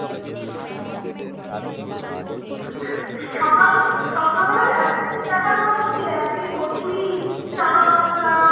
একদিন কচুরি চানামশলা